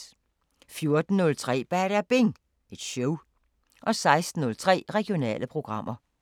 14:03: Badabing Show 16:03: Regionale programmer